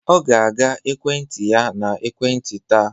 Ọ ga-aga ekwentị ya na ekwentị taa